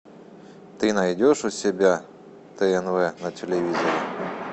ты найдешь у себя тнв на телевизоре